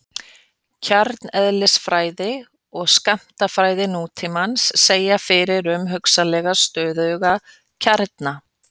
Kjarneðlisfræði og skammtafræði nútímans segja fyrir um hugsanlega stöðuga kjarna.